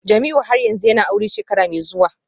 Jamiu har yanzu yana aure shekara mai zuwa?